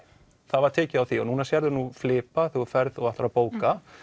það var tekið á því og núna sérðu flipa þegar þú ferð og ætlar að bóka